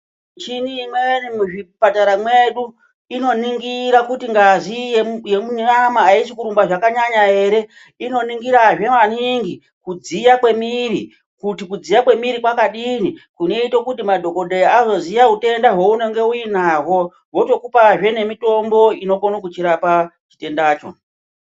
Michini imweni muzvipatara mwedu inoningira kuti ngazi yemunyama haisi kurumba zvakanyanya ere inoningirazve maningi kudziya mwemwiri kuti kudziya mwemwiri kwakadini kunoita kuti madhokodheya azoziya utenda hwounenge uinahwo votokupazve nemitombo inokona kutochirapa chitendacho.